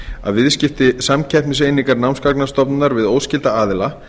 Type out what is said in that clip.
að viðskipti samkeppniseiningar námsgagnastofnunar við óskylda aðila